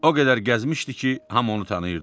O qədər gəzmişdi ki, hamı onu tanıyırdı.